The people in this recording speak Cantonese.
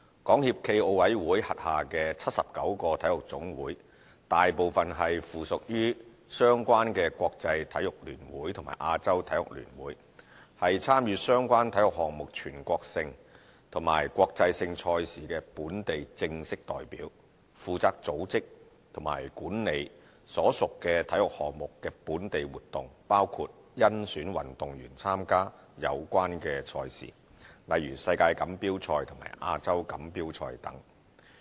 港協暨奧委會轄下的79個體育總會大部分是附屬於相關的國際體育聯會和亞洲體育聯會，是參與相關體育項目全國性及國際性賽事的本地正式代表，負責組織及管理所屬體育項目的本地活動，包括甄選運動員參加有關賽事，例如世界錦標賽及亞洲錦標賽等。